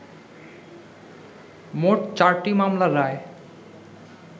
মোট চারটি মামলার রায়